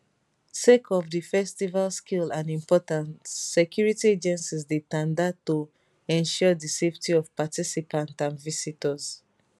sake of di festival scale and importance security agencies dey tanda to ensure di safety of participants and visitors